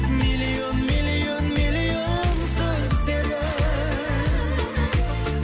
миллион миллион миллион сөздері